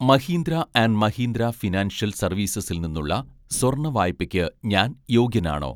Mahindra and Mahindra financial സർവീസസിൽ നിന്നുള്ള സ്വർണ്ണ വായ്പയ്ക്ക് ഞാൻ യോഗ്യനാണോ